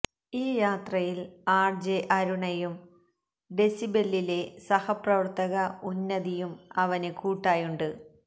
ഈ യാത്രയില് ആര്ജെ അരുണയും ഡെസിബെല്ലിലെ സഹപ്രവര്ത്തക ഉന്നതിയും അവന് കൂട്ടായുണ്ട്